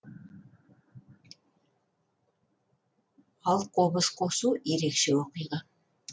ал қобыз қосу ерекше оқиға